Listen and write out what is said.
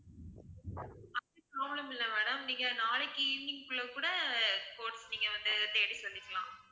அது problem இல்ல madam நீங்க நாளைக்கு evening க்கு உள்ள கூட quotes நீங்க வந்து தேடி சொல்லிக்கலாம்